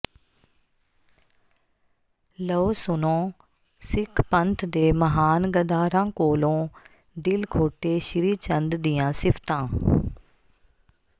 ਲਉ ਸੁਣੋ ਸਿੱਖ ਪੰਥ ਦੇ ਮਹਾਨ ਗੱਦਾਰਾਂ ਕੋਲ਼ੋਂ ਦਿਲ ਖੋਟੇ ਸ੍ਰੀ ਚੰਦ ਦੀਆਂ ਸਿਫਤਾਂ